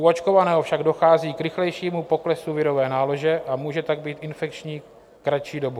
U očkovaného však dochází k rychlejšímu poklesu virové nálože a může tak být infekční kratší dobu.